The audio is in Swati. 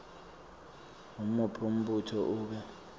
ngumuphi umbuto ube